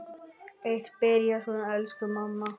Eitt byrjaði svona: Elsku mamma!